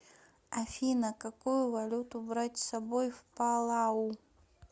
афина какую валюту брать с собой в палау